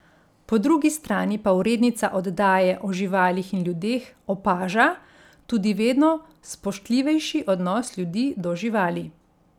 Po drugi strani pa urednica oddaje O živalih in ljudeh opaža tudi vedno spoštljivejši odnos ljudi do živali.